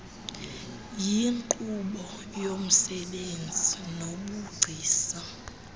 yinkqubo yomsebenzi nobugcisa